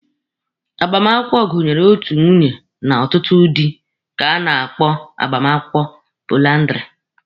Agbamakwụkwọ gụnyere otu nwunye na ọtụtụ dị ka a na-akpọ agbamakwụkwọ poliandiri.